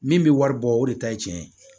Min bɛ wari bɔ o de ta ye tiɲɛ ye